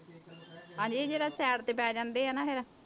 ਹਾਂਜੀ ਇਹ ਜ਼ਰਾ side ਤੇ ਪੈ ਜਾਂਦੇ ਆ ਨਾ ਫਿਰ।